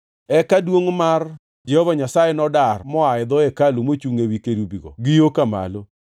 Eka duongʼ mar Jehova Nyasaye nodar moa e dho hekalu mochungʼ ewi kerubigo gi yo ka malo.